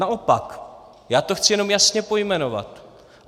Naopak, já to chci jenom jasně pojmenovat.